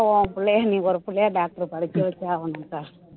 உன் புள்ளைய நீ ஒரு புள்ளைய doctor க்கு படிக்க வச்சே ஆகணும் அக்கா